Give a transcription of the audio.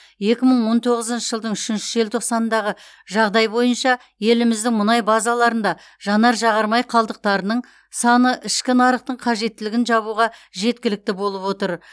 екі мың он тоғызыншы жылдың үшінші желтоқсанындағы жағдай бойынша еліміздің мұнай базаларында жанар жағар май қалдықтарының саны ішкі нарықтың қажеттілігін жабуға жеткілікті болып отыр